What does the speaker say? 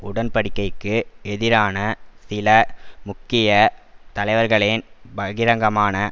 உடன்படிக்கைக்கு எதிரான சில முக்கிய தலைவர்களின் பகிரங்கமான